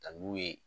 Ka n'u ye